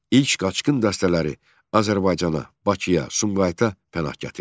İlk qaçqın dəstələri Azərbaycana, Bakıya, Sumqayıta pənah gətirdi.